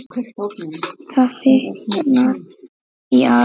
Það þykknar í Ara